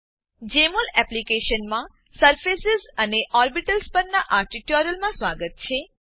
જમોલ Jmol એપ્લીકેશનમાં surface surfaces અને orbitals orbitals પરનાં આ ટ્યુટોરીયલમાં સ્વાગત છે